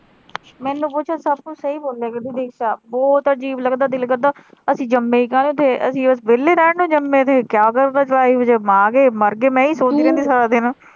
ਮੈਨੂੰ ਪੁੱਛ ਸਬ ਕੁਛ ਸਹੀ ਬੋਲਿਆ ਤੂੰ ਦੇਵਿਕਾ ਬਹੁਤ ਅਜੀਬ ਲਗਦਾ ਦਿਲ ਕਰਦਾ ਅਸੀਂ ਜੰਮੇ ਕਾਹਦੇ ਤੇ ਕਿ ਅਸੀਂ ਵੇਹਲੇ ਰਹਿਣ ਨੂੰ ਜੰਮੇ ਸੀ ਮਰ ਗਏ ਮੈਂ ਇਹੀ ਸੋਚਦੀ ਰਹਿੰਦੀ ਸਾਰਾ ਦਿਨ ਤੂੰ।